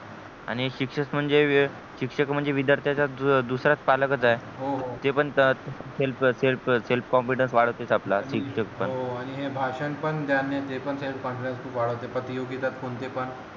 आणि शिक्षक म्हणजे शिक्षक म्हणजे विद्यार्थ दुसरा पालकच आहे हो हो ते पण selfselfself confidence वाढवते आपला शिक्षक पण हो हो आणि हे भाषण पण याने self confidence वाढवते प्रतियोगिता कोणती पण